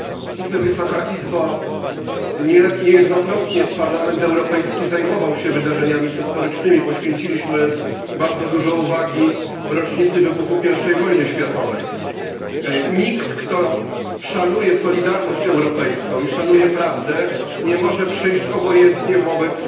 Panie Przewodniczący! Niejednokrotnie Parlament Europejski zajmował się wydarzeniami historycznymi. Poświęciliśmy bardzo dużo uwagi rocznicy wybuchu I wojny światowej. Nikt, kto szanuje solidarność europejską i szanuje prawdę, nie może przejść obojętnie wobec